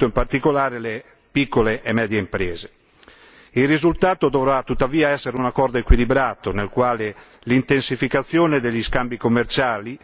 in particolare le piccole e medie imprese. Il risultato dovrà tuttavia essere un accordo equilibrato nel quale l'intensificazione degli scambi commerciali